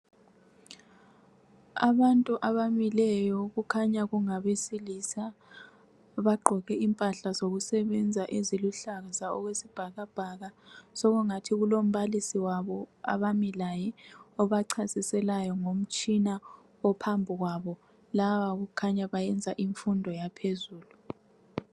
Baantu abamileyo okukhanya kungabesilisa bagqoke impahla zokusebenza eziluhlaza okwesibhakabhaka sokungathi kulombalisi wabo abami laye obachasiselayo ngomtshina phambi kwabo laba kukhanya bayenza imfundo yaphezulu